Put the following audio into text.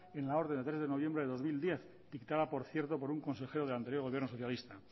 en la orden de tres de noviembre de dos mil diez dictada por cierto por un consejero del anterior gobierno socialista